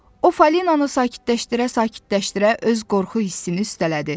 O Fəlinanı sakitləşdirə-sakitləşdirə öz qorxu hissini üstələdi.